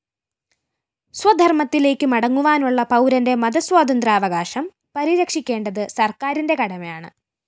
സ്വധര്‍മ്മത്തിലേക്ക് മടങ്ങുവാനുള്ള പൗരന്റെ മതസ്വാതന്ത്ര്യാവകാശം പരിരക്ഷിക്കേണ്ടത് സര്‍ക്കാരിന്റെ കടമയാണ്